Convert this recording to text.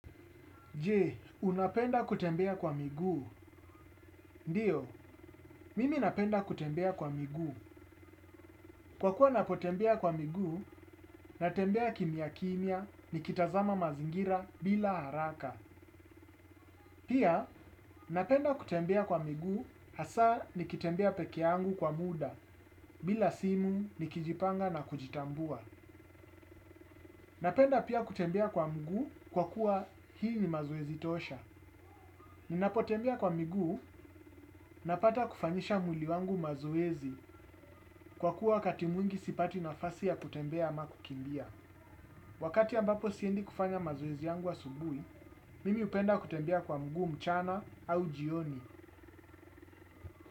Je, unapenda kutembea kwa miguu. Ndio, mimi napenda kutembea kwa migu. Kwa kuwa napotembea kwa miguu, natembea kimia kimia, nikitazama mazingira bila haraka. Pia, napenda kutembea kwa miguu, hasaa nikitembea peke yangu kwa muda, bila simu nikijipanga na kujitambua. Napenda pia kutembea kwa migu, kwa kuwa hii ni mazoezi tosha. Ninapotembea kwa migu, napata kufanyisha mwili wangu mazoezi kwa kuwa wakati mwingi sipati nafasi ya kutembea ama kukimbia. Wakati ambapo siendi kufanya mazoezi yangu asubuhi, mimi upenda kutembea kwa mguu mchana au jioni.